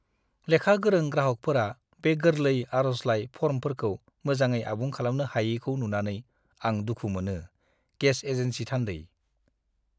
लेखा गोरों ग्राहकफोरा बे गोरलै आर'जलाइ फर्मफोरखौ मोजाङै आबुं खालामनो हायैखौ नुनानै आं दुखु मोनो!(गेस एजेन्सि थान्दै)